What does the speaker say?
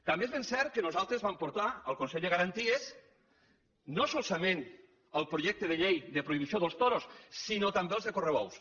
també és ben cert que nosaltres vam portar al consell de garanties no solament el projecte de llei de prohibició dels toros sinó també el de correbous